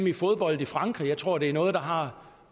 i fodbold i frankrig jeg tror det er noget der har